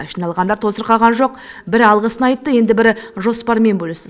жиналғандар тосырқаған жоқ бірі алғысын айтты енді бірі жоспарымен бөлісті